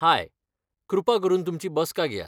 हाय, कृपा करून तुमची बसका घेयात.